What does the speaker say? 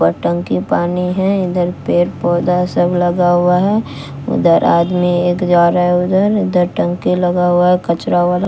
और टंकी पानी हैं इधर पेड़-पौधा सब लगा हुआ है उधर आदमी एक जा रहा है उधर इधर टंकी लगा हुआ कचरा वाला।